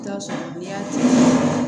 I bi t'a sɔrɔ den ya tɛ